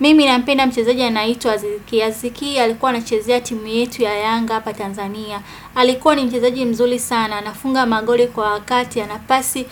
Mimi ninapenda mchezaji anayeitwa azizi ki. Azizi ki alikuwa anachezea timu yetu ya Yanga hapa Tanzania. Alikuwa ni mchizaji mzuli sana. Anafunga magoli kwa wakati ya nafasi.